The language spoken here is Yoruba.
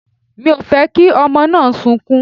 Mi ò fẹ́ kí ọmọ náà sunkún.